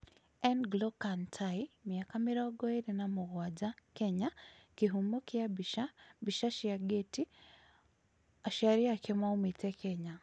N'Glo Kantai, mĩaka mĩrongo ĩĩrĩ na mũgwanja (Kenya) Kĩhumo kĩa mbica, Mbica cia Getty, aciari ake maũmete Kenya.